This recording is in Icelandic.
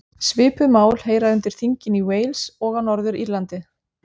Svipuð mál heyra undir þingin í Wales og á Norður-Írlandi.